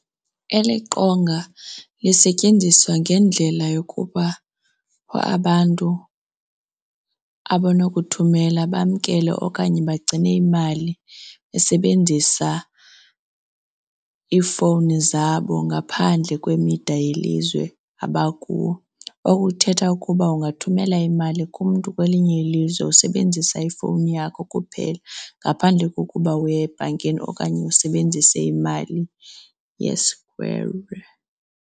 Eli qonga lisetyenziswa ngendlela yokuba abantu abonokuthumela bamkele okanye bagcine imali besebenzisa iifowuni zabo ngaphandle kwemida yelizwe abakuyo. Oku kuthetha ukuba ungathumela imali kumntu kwelinye ilizwe usebenzisa ifowuni yakho kuphela ngaphandle kokuba uya ebhankini okanye usebenzise imali yesikwere.